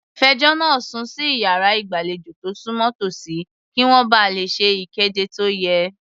Fẹjọ́ náà sùn sí iyàrá ìgbàlejò tó súnmọ́ tòsí, kí wọ́n ba lè ṣe ìkéde tó yẹ.